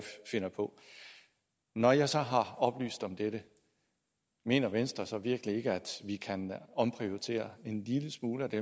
finder på når jeg så har oplyst om dette mener venstre så virkelig ikke at vi kan omprioritere en lille smule af de